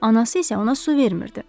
Anası isə ona su vermirdi.